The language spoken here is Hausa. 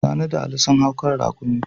Sani da Ali sun hau kan raƙumi.